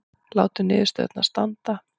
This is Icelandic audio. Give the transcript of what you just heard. Látum niðurstöðurnar standa